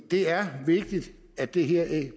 er vigtigt at det her